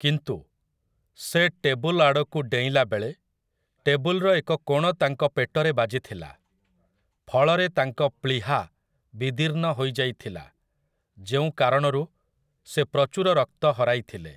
କିନ୍ତୁ, ସେ ଟେବୁଲ୍‌ ଆଡ଼କୁ ଡେଇଁଲା ବେଳେ ଟେବୁଲ୍‌‌ର ଏକ କୋଣ ତାଙ୍କ ପେଟରେ ବାଜିଥିଲା, ଫଳରେ ତାଙ୍କ ପ୍ଳୀହା ବିଦୀର୍ଣ୍ଣ ହୋଇଯାଇଥିଲା ଯେଉଁ କାରଣରୁ ସେ ପ୍ରଚୁର ରକ୍ତ ହରାଇଥିଲେ ।